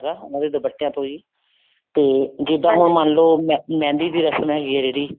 ਆਂਦਾ ਹੈਗਾ ਮਤਲਬ ਦੁਪੱਟਿਆਂ ਤੋਂ ਹੀ ਤੇ ਜਿੱਦਾਂ ਹੁਣ ਮੰਨਲੋ ਮਹਿੰਦੀ ਦੀ ਰਸਮ ਹੈਗੀ ਹੈ ਜਿਹੜੀ